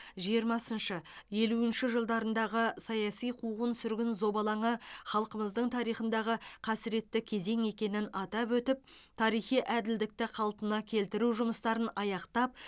жиырмасыншы елуінші жылдарындағы саяси қуғын сүргін зобалаңы халқымыздың тарихындағы қасіретті кезең екенін атап өтіп тарихи әділдікті қалпына келтіру жұмыстарын аяқтап